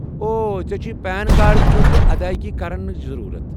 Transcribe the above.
اوہ، ژےٚ چھُیہ پین کارڈ خٲطرٕ ادٲیگی کرنچ ضروٗرَت؟